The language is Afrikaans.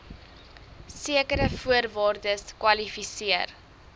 sekere voorwaardes kwalifiseer